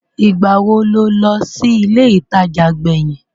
Ìgbà wo lo lọ sí ilé ìtajà gbẹ̀yìn?